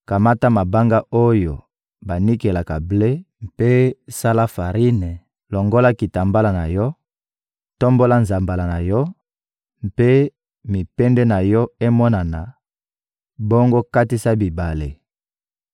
Kamata mabanga oyo banikelaka ble mpe sala farine, longola kitambala na yo, tombola nzambala na yo, mpe mipende na yo emonana, bongo katisa bibale!